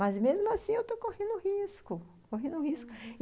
Mas, mesmo assim, eu estou correndo risco, correndo risco, uhum.